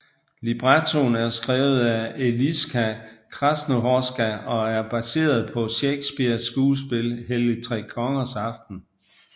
Librettoen er skrevet af Eliska Krásnohorská og er baseret på Shakespeares skuespil Helligtrekongersaften